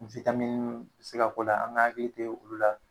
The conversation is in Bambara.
bi se ka k'o la, an ga hakili te olu la